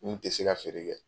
Min tɛ se ka feere kɛ